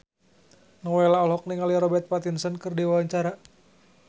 Nowela olohok ningali Robert Pattinson keur diwawancara